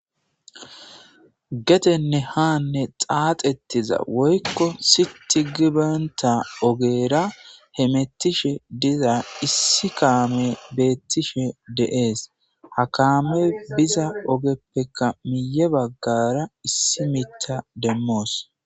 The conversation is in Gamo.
Getenne haanne xaaxettiza woykko siti gibanta ogera hemettishe diza issi kaame beettishe de'ees ha kaame biza ogeppeka miye baggara issi mitta demmoos.